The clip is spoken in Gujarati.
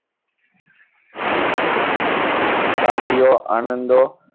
સાથીઓ આનંદો